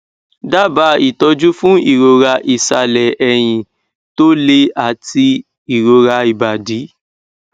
daba ìtọjú fún ìroraisale ẹyìn tó le àti ìrora ibadi